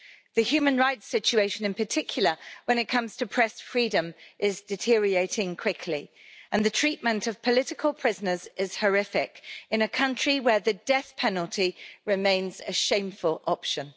The human rights situation, in particular when it comes to press freedom, is deteriorating quickly, and the treatment of political prisoners is horrific in a country where the death penalty remains a shameful option.